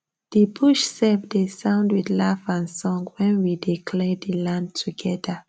the bush sef dey sound with laugh and song wen we dey clear the land together